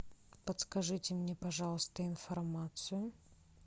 подскажите мне пожалуйста информацию